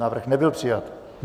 Návrh nebyl přijat.